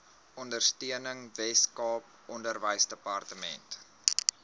ondersteuning weskaap onderwysdepartement